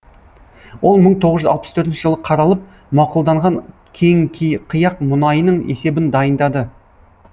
ол мың тоғыз жүз алпыс төртінші жылы қаралып мақұлданған кеңкиқияқ мұнайының есебін дайындады